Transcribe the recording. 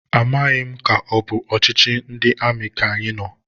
Amaghị m ka ọbụ ọchịchị ndị amị ka anyị nọ,